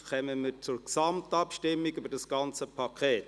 Somit kommen wir zur Gesamtabstimmung über das ganze Paket.